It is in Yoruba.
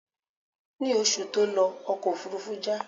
Ní oṣù tí ó lọ, ọkọ̀ òfúrúfú já.